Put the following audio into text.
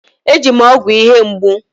E ji m ọgwụ ihe mgbu.